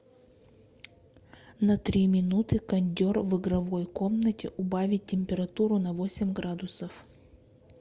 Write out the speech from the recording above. на три минуты кондер в игровой комнате убавить температуру на восемь градусов